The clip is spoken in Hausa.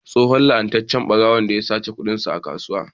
Tsohon ya la'anci ɓarawon da ya sace kudinsa a kasuwa.